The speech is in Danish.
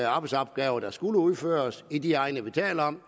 arbejdsopgaver der skulle udføres i de egne vi taler om